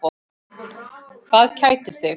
Hvað kætir þig?